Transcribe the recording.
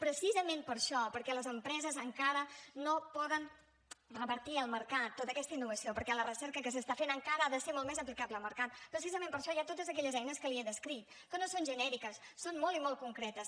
precisament per això perquè les empreses encara no poden revertir al mercat tota aquesta innovació perquè la recerca que s’està fent encara ha de ser molt més aplicable al mercat precisament per això hi ha totes aquelles eines que li he descrit que no són genèriques són molt i molt concretes